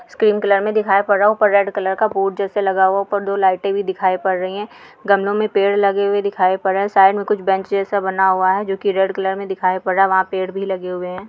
Green colour में दिखाई पड़ रहा है| ऊपर रेड कलर का बोर्ड जैसा लगा हुआ है| ऊपर लाइट भी दिखाई पड़ रही है| गमलो में पेड़ दिखाई पड़ रहे है| साइड़ में कुछ बेंच चैयर सा बना हुआ है जो की रेड कलर में दिखाई पड़ रहा वहा पेड़ भी लगे है।